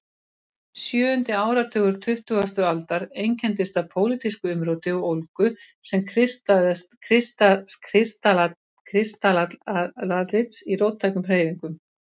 Sjöundi áratugur tuttugustu aldar einkenndist af pólitísku umróti og ólgu sem kristallaðist í róttækum hreyfingum.